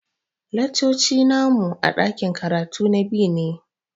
Laccoci na mu a ɗakin karatu na B ne.